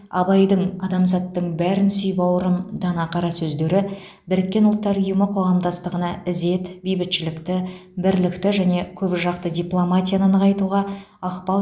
абайдың адамзаттың бәрін сүй бауырым дана қара сөздері біріккен ұлттар ұйымы қоғамдастығына ізет бейбітшілікті бірлікті және көпжақты дипломатияны нығайтуға ықпал